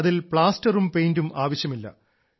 അതിൽ പ്ലാസ്റ്ററും പെയിന്റും ആവശ്യമില്ല